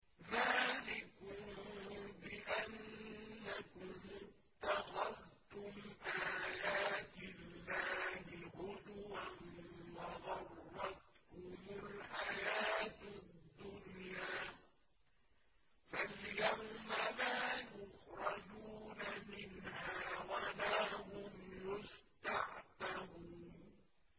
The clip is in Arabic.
ذَٰلِكُم بِأَنَّكُمُ اتَّخَذْتُمْ آيَاتِ اللَّهِ هُزُوًا وَغَرَّتْكُمُ الْحَيَاةُ الدُّنْيَا ۚ فَالْيَوْمَ لَا يُخْرَجُونَ مِنْهَا وَلَا هُمْ يُسْتَعْتَبُونَ